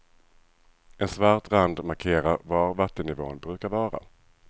En svart rand markerar var vattennivvån brukar vara.